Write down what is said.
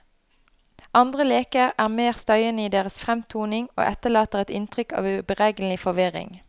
Andre leker er mer støyende i deres fremtoning og etterlater et inntrykk av uberegnelig forvirring.